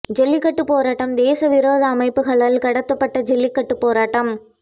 ஜல்லிக்கட்டுப் போராட்டம் தேச விரோத அமைப்புகளால் கடத்தப்பட்ட ஜல்லிக்கட்டுப் போராட்டம்